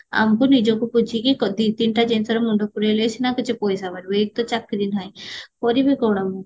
ଆମକୁ ବୁଝିକି ଦି ତିନିଟା ଜିନିଷରେ ମୁଣ୍ଡ ପୁରେଇଲେ ସିନା କିଛି ପଇସା ବାହାରିବ ଏକ ତ ଚାକିରି ନାହି କରିବି କଣ ମୁଁ